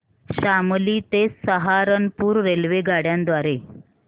शामली ते सहारनपुर रेल्वेगाड्यां द्वारे